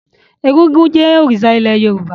Egúngún jẹ́ òrìṣà ilẹ̀ Yorùbá.